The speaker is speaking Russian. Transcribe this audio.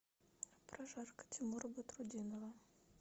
прожарка тимура батрутдинова